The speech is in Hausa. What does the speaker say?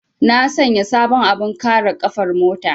Na sanya sabon abin kare ƙafar mota.